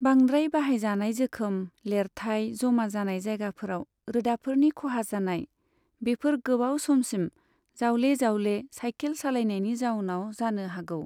बांद्राय बाहायजानाय जोखोम, लेरथाय जमा जानाय जायगाफोराव रोदाफोरनि खहा जानाय, बेफोर गोबाव समसिम जावले जावले सायखेल सालायनायनि जाउनाव जानो हागौ।